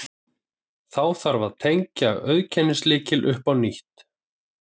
Þá þarf að tengja auðkennislykil upp á nýtt.